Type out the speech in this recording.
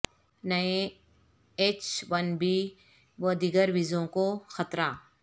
نئے H one B و دیگر ویزوں کو خطرہ